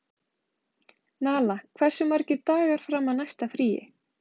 Nala, hversu margir dagar fram að næsta fríi?